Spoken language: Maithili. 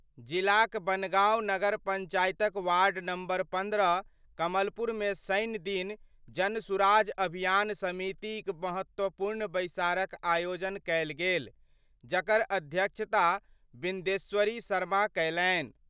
जिलाक बनगांव नगर पंचायतक वार्ड नम्बर 15 कमलपुर मे शनि दिन जनसुराज अभियान समिति क महत्वपूर्ण बैसारक आयोजन कयल गेल जकर अध्यक्षता बिन्देश्वरी शर्मा कयलनि।